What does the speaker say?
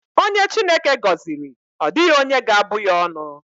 Onye Chineke gọziri, ọ dịghị onye ga-abụ ya ọnụ.